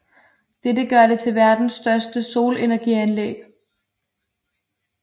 Dette gør det til verdens største solenergianlæg